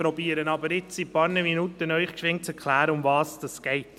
Ich versuche Ihnen aber in ein paar Minuten zu erklären, worum es geht.